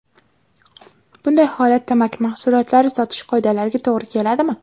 Bunday holat tamaki mahsulotlari sotish qoidalariga to‘g‘ri keladimi?